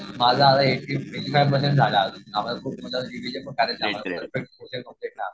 माझा आता eighty eighty five percent झालाय